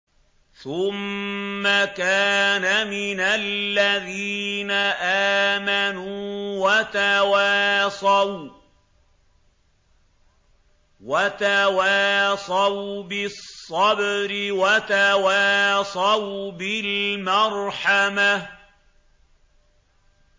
ثُمَّ كَانَ مِنَ الَّذِينَ آمَنُوا وَتَوَاصَوْا بِالصَّبْرِ وَتَوَاصَوْا بِالْمَرْحَمَةِ